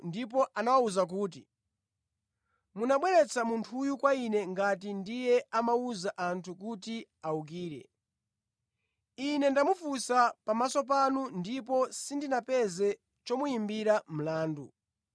ndipo anawawuza kuti, “Munabweretsa munthuyu kwa ine ngati ndiye amawuza anthu kuti awukire. Ine ndamufunsa pamaso panu ndipo sindinapeze chomuyimbira mlandu.